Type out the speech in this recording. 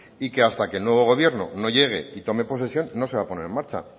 y que hasta que el nuevo gobierno no llegue y tome posesión no se va a poner en marcha